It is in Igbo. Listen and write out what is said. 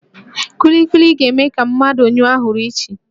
Kulikuli ga-eme ka mmadụ nyụọ ahụrụ ushi